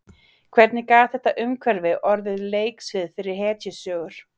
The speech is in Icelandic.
Hvernig gat þetta umhverfi orðið leiksvið fyrir hetjusögur?